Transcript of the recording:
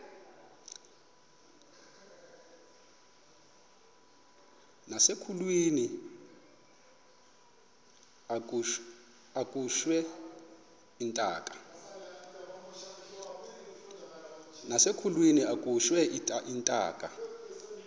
nasekulweni akhutshwe intaka